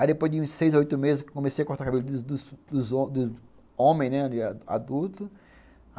Aí depois de uns seis ou oito meses, eu comecei a cortar o cabelo dos dos dos homens, né, adultos.